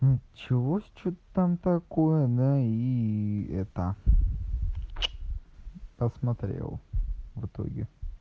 чего с что там такое на и это посмотрел в итоге